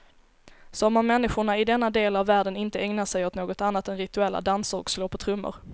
Som om människorna i denna del av världen inte ägnar sig åt något annat än rituella danser och slå på trummor.